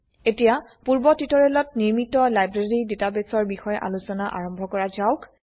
এতিয়া পূৰ্ব টিউটোৰিয়েলত নিৰ্মিত লাইব্ৰেৰী ডাটাবেসৰ বিষয়ে আলোচনা আৰম্ভ কৰা যাওক